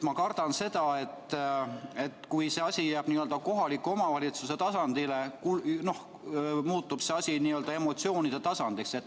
Ma kardan, et kui see asi jääb kohaliku omavalitsuse tasandile, siis muutub see emotsioonide tasandiks.